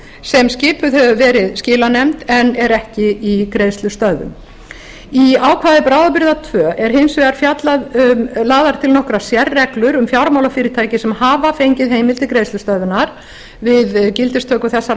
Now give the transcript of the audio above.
sem skipuð hefur verið skilanefnd en er ekki í greiðslustöðvun í ákvæði bráðabirgða tveir eru hins vegar lagðar til nokkrar sérreglur um fjármálafyrirtæki sem hafa fengið heimild til greiðslustöðvunar við gildistöku þessara